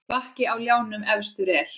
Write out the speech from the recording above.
Bakki á ljánum efstur er.